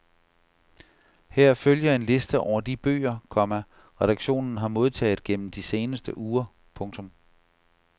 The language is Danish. Her følger en liste over de bøger, komma redaktionen har modtaget gennem de seneste uger. punktum